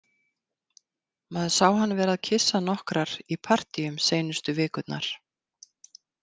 Maður sá hann vera að kyssa nokkrar í partíum seinustu vikurnar.